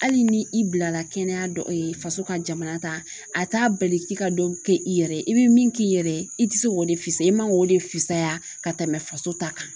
Hali ni i bila la kɛnɛya dɔ faso ka jamana ta a t'a bali k'i ka dɔ kɛ i yɛrɛ ye i bɛ min k'i yɛrɛ ye i tɛ se k'o de fisaya i man k'o de fisaya ka tɛmɛ faso ta kan.